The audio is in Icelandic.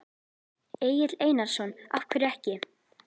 Egill Einarsson: Af hverju ekki?